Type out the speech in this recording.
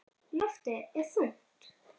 Loftið er þungt.